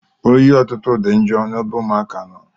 Oyi ọtụtụ dị njọ n'ebe ụmụaka nọ.